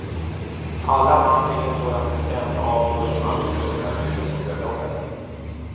Alla man fick en sådan present av skulle man bli tvungen att bjuda på bröllopet.